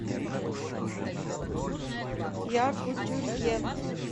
якутюрье